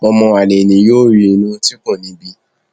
ọmọ àlè ni yóò rí inú tí kò ní í bí